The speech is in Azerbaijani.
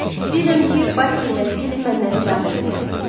İstəyirəm ki, Basil və siz məndən teatra gələsiniz.